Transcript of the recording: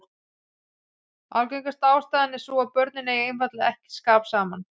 Algengasta ástæðan er sú að börnin eigi einfaldlega ekki skap saman.